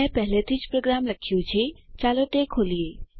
મેં પહેલેથી પ્રોગ્રામ લખ્યો છે ચાલો તે ખોલીએ